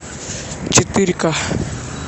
четыре ка